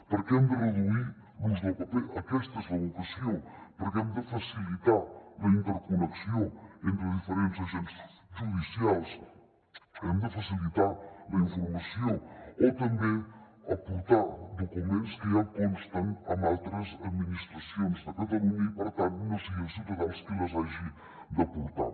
perquè hem de reduir l’ús del paper aquesta és la vocació perquè hem de facilitar la interconnexió entre diferents agents judicials hem de facilitar la informació o també aportar documents que ja consten en altres administracions de catalunya i per tant no sigui el ciutadà el qui les hagi d’aportar